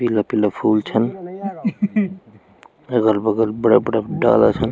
पीला पीला फूल छन अगल बगल बड़ा बड़ा डाला छन।